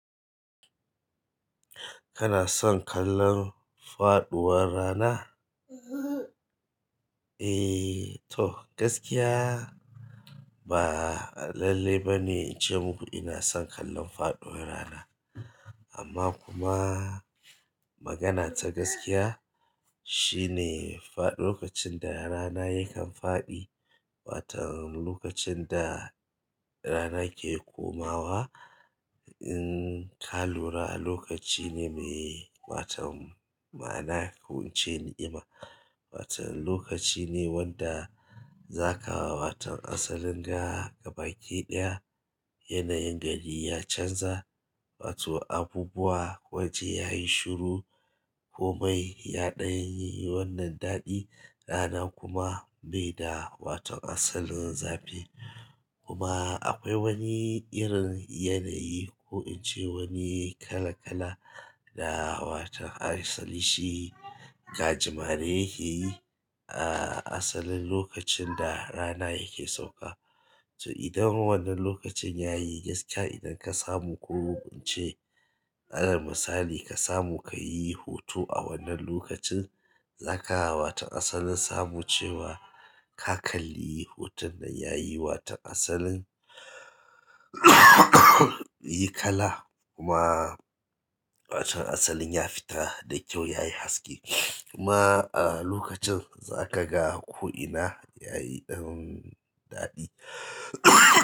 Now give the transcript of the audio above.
Kana son kallon faɗuwar rana? Eh toh gaskiya ba lalle ba ne in ce muku ina son kallon faɗuwar rana. Amma kuma magana ta gaskiya shine faɗ-- lokacin da rana yakan faɗi, watan-- lokacin da rana ke komawa, in ka lura lokaci ne mai watan ma'ana ko in ce ni ima. Watan lokaci ne wanda za ka wa watan asalin ga gabaki ɗaya, yanayin gari ya canza, wato abubuwa waje yayi shiru komai ya ɗan yi wannan daɗi rana kuma bai da wato asalin zafi. Kuma akwai wani irin yanayi ko in ce wani kala-kala da watan asali shi gajimare yake yi a asalin lokacin da rana yake sauka. To idan wannan lokacin yayi gaskiya idan ka samu ko ince, ana misali ka samu ka yi hoto a wannan lokacin za ka waton asalin samu cewa ka kalli hoton nan yayi watan asalin yi kala kuma asalin ya fita da kyau yayi haske. Kuma a lokacin zaka ga ko ina yayi irin daɗi.